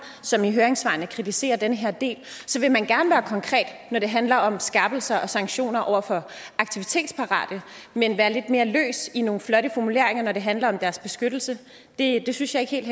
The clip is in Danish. som i høringssvarene kritiserer den her del så vil man gerne være konkret når det handler om skærpelse af sanktioner over for aktivitetsparate men være lidt mere løs med nogle flotte formuleringer når det handler om deres beskyttelse det synes jeg ikke helt